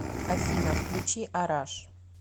афина включи араш